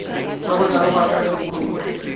ka botlalo go akaretsa dikhoutu